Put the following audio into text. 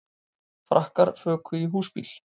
Frakkar fuku í húsbíl